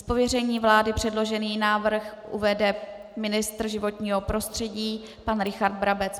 Z pověření vlády předložený návrh uvede ministr životního prostředí pan Richard Brabec.